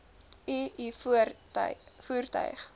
u u voertuig